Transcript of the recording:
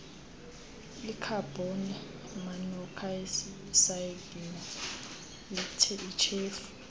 ikhabhoni monokhsayidi yityhefu